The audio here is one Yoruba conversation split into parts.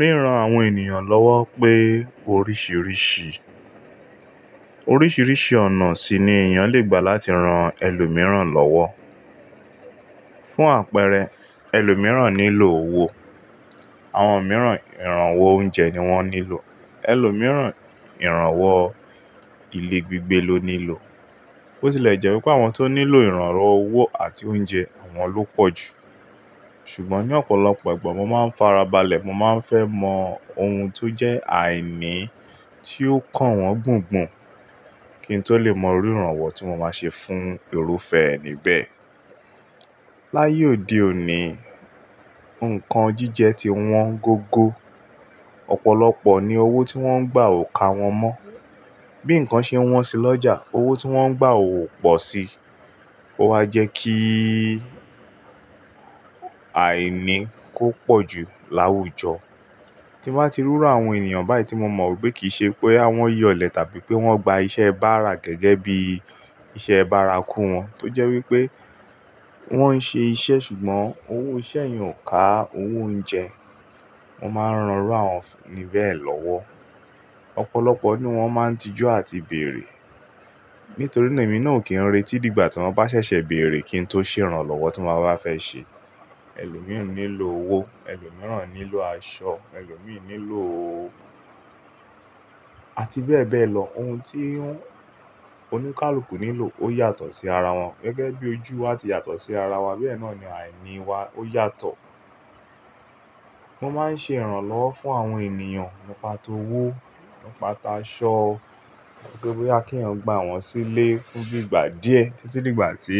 Ríran àwọn ènìyàn lọ́wọ́ pé oríṣiríṣi, oríṣiríṣi ọ̀nà sì ni èèyàn lè gbà láti ran ẹlòmíràn lọ́wọ́. Fún àpẹẹrẹ ẹlòmíràn nílò owó, àwọn mìíràn ìrànwọ́ oúnjẹ ni wọ́n nílò, ẹlòmíràn ìrànwọ́ ilé gbígbé ló nílò. Bó ti lè jẹ́ wípé àwọn tó nílò ìrànwọ́ owó àti oúnjẹ, àwọn ló pọ̀ jù. Ṣùgbọ́n ní ọ̀pọ̀lọpọ̀ ìgbà mo máa ń farabalẹ̀, mo máa ń fẹ́ mọ ohun tó jẹ́ àìní tí ó ń kàn wọ́n gbùngbùn kí n tó lè mọ rú ìrànwọ́ tí mo máa ṣe fún irúfẹ́ ẹni bẹ́ẹ̀. Láyé òde òní, nǹkan jíjẹ ti wọ́n gógó, ọ̀pọ̀lọpọ̀ ní owó tí wọ́n ń gbà ò ka wọn mọ́. Bí nǹkan ṣe wọ́n sì lọ́jà, owó tí wọ́n ń gbà ò pọ̀ síi. Ó wa jẹ́ kí àìní kó pọ̀ jù láwùjọ. Tí mo bá ti rí irú àwọn ènìyàn báyìí tí mo mọ̀ wípé kì í ṣe pé àwọn yọ̀lẹ tàbí pé wọ́n gba iṣẹ́ báara gẹ́gẹ́ bí iṣẹ́ báara kú wọn, tó jẹ́ wípé wọ́n ń ṣe iṣẹ́ ṣùgbọ́n owó iṣẹ́ yẹn ò ká owó oúnjẹ, mo máa ń ràn irú àwọn ẹni bẹ́ẹ̀ lọ́wọ́. Ọ̀pọ̀lọpọ̀ nínú wọ́n máa ń tijú àti bèèrè. Nítorí náà èmi náà kì í retí di ìgbà tí wọ́n bá ṣẹ̀ṣẹ̀ bèèrè kí n tó ṣe ìrànlọ́wọ́ tí mo bá fẹ́ ṣe. Ẹlòmíràn nílò owó, ẹlòmíràn nílò aṣọ, ẹlòmíràn nílò àti bẹ́ẹ̀ bẹ́ẹ̀ lọ̀. Ohun tí oníkálukú nílò ó yàtọ̀ sí ara wọn gẹ́gẹ́ bí ojú wá ti yàtọ̀ sí ara wa, bí ẹ náà ni àìní wa ó yàtọ̀. Mo máa ń ṣe ìrànlọ́wọ́ fún àwọn ènìyàn nípa t'owó, nípa t'aṣọ, pé bí kí ènìyàn gba wọ́n sílé fún bí ìgbà díẹ̀ títí dígbà tí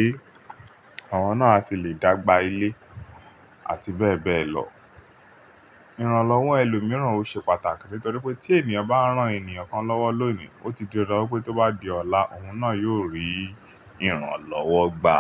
àwọn náà á fi lè dàgbà ilé àti bẹ́ẹ̀ bẹ́ẹ̀ lọ. Ìrànlọ́wọ́ ẹlòmíràn ò ṣe pàtàkì nítorí pé tí ènìyàn bá rán ènìyàn kan lọ́wọ́ lónìí, ó ti di ọ̀dọ̀ wípé tó bá di ọ̀la òun náà yóò rí ìrànlọ́wọ́ gbà.